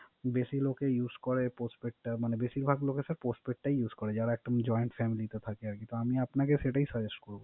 বেশি লোকে Use করে Postpaid টা। বেশির ভাগ লোকে Postpaid use করে। যারা একদম Join family টে থাকে আরকি। তো আমি আপনাকে সেটাই Suggest করব